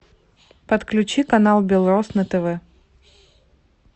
подключи канал белрос на тв